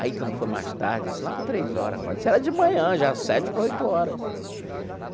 Aí, quando foi mais tarde, assim, lá para três horas, quase, isso era de manhã já, sete para oito horas.